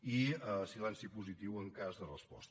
i silenci positiu en cas de resposta